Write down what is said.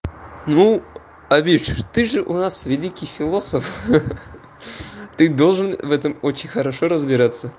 ну авидж ты же у нас великий философ ха-ха ты должен в этом очень хорошо разбираться